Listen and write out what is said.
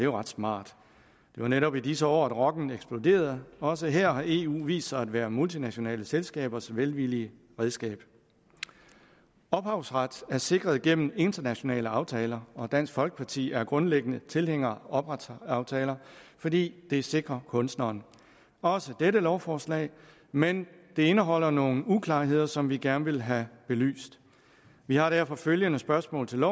ret smart det var netop i disse år at rocken eksploderede også her har eu vist sig at være multinationale selskabers velvillige redskab ophavsret er sikret gennem internationale aftaler og dansk folkeparti er grundlæggende tilhænger af ophavsretsaftaler fordi det sikrer kunstneren også dette lovforslag men det indeholder nogle uklarheder som vi gerne vil have belyst vi har derfor følgende spørgsmål til